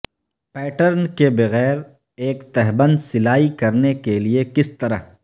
pattern کے بغیر ایک تہبند سلائی کرنے کے لئے کس طرح